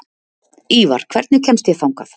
Ívar, hvernig kemst ég þangað?